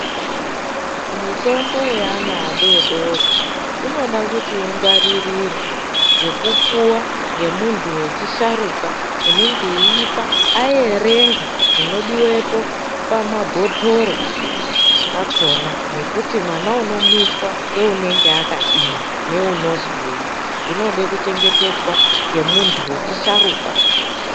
Mitombo yaana adoodori, inoda kuti ingwaririra yekupuwa ngemuntu wechisharuka unenge uipa ayerenga zvinodiwopo pamabhotoro akona, nekuti mwana unomwiswa ngeunenge akadii ,neunozwei. Zvinode kuchengetedzwa ngemuntu wechisharuka.